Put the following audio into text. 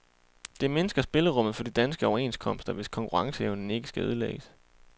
Det mindsker spillerummet for de danske overenskomster, hvis konkurrenceevnen ikke skal ødelægges.